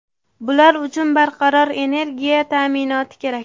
Bular uchun barqaror energiya ta’minoti kerak.